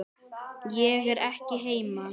Ég er ekki heima